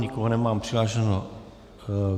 Nikoho nemám přihlášeného.